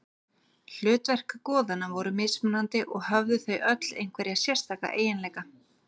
Hlutverk goðanna voru mismunandi og höfðu þau öll einhverja sérstaka eiginleika.